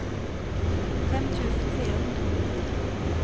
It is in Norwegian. fem tusen fire hundre og nitti